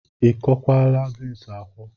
A kwokwala beans akwo?